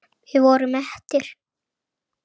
Við vorum mettir.